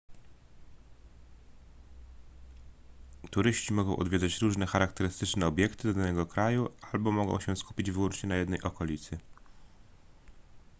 turyści mogą odwiedzać różne charakterystyczne obiekty danego kraju albo mogą się skupić wyłącznie na jednej okolicy